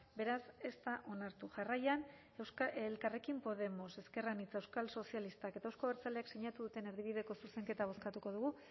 beraz ez da onartu jarraian elkarrekin podemos ezker anitza euskal sozialistak eta euzko abertzaleek sinatu duten erdibideko zuzenketa bozkatuko dugu